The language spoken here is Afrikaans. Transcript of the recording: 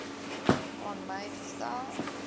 aan my gestel